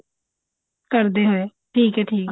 ਕਰਦੇ ਹੋਏ ਠੀਕ ਆ ਠੀਕ ਆ